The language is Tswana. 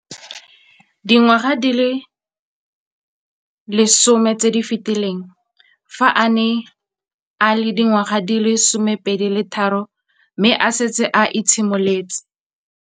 Dingwaga di le 10 tse di fetileng, fa a ne a le dingwaga di le 23 mme a setse a itshimoletse